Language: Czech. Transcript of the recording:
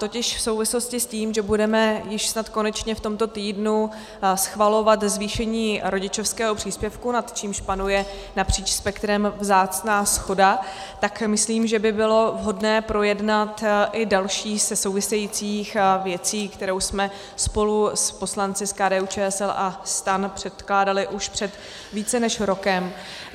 Totiž v souvislosti s tím, že budeme již snad konečně v tomto týdnu schvalovat zvýšení rodičovského příspěvku, nad čímž panuje napříč spektrem vzácná shoda, tak myslím, že by bylo vhodné projednat i další ze souvisejících věcí, kterou jsme spolu s poslanci z KDU-ČSL a STAN předkládali už před více než rokem.